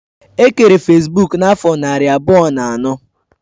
E kere fesbuk n'afo nari abuo na ano